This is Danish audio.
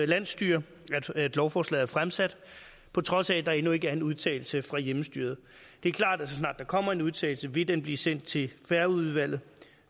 landsstyre at lovforslaget er fremsat på trods af at der endnu ikke er en udtalelse fra hjemmestyret det er klart at så snart der kommer en udtalelse vil den blive sendt til færøudvalget